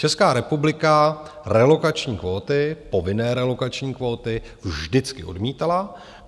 Česká republika relokační kvóty, povinné relokační kvóty vždycky odmítala.